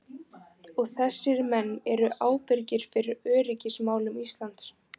Og þessir menn eru ábyrgir fyrir öryggismálum Íslands!